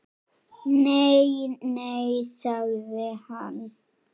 Nei, nei sagði hann.